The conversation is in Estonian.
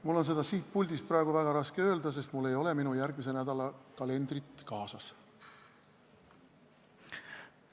Mul on seda siit puldist praegu väga raske öelda, sest mul ei ole minu järgmise nädala kalendrit kaasas.